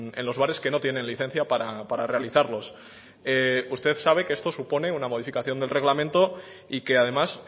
en los bares que no tienen licencia para realizarlos usted sabe que esto supone una modificación del reglamento y que además